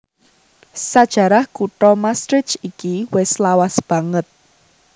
Sajarah kutha Maastricht iki wis lawas banget